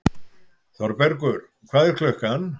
Þorbergur, hvað er klukkan?